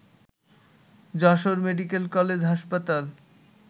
Jessore medical college হাসপাতাল